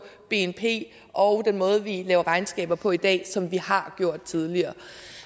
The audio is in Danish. bnp og den måde vi laver regnskaber på i dag som vi har gjort tidligere